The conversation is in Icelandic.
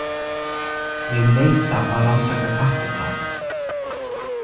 Ég neita að rannsaka kattadráp.